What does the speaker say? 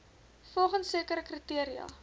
volgens sekere kriteria